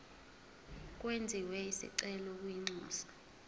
kwenziwe isicelo kwinxusa